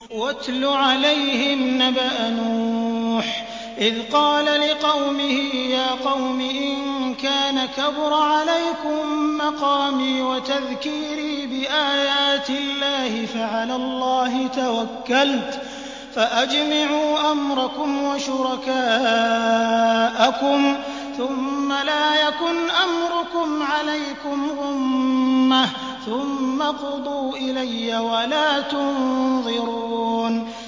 ۞ وَاتْلُ عَلَيْهِمْ نَبَأَ نُوحٍ إِذْ قَالَ لِقَوْمِهِ يَا قَوْمِ إِن كَانَ كَبُرَ عَلَيْكُم مَّقَامِي وَتَذْكِيرِي بِآيَاتِ اللَّهِ فَعَلَى اللَّهِ تَوَكَّلْتُ فَأَجْمِعُوا أَمْرَكُمْ وَشُرَكَاءَكُمْ ثُمَّ لَا يَكُنْ أَمْرُكُمْ عَلَيْكُمْ غُمَّةً ثُمَّ اقْضُوا إِلَيَّ وَلَا تُنظِرُونِ